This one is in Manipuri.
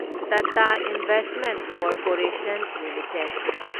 Tata investment corporation limited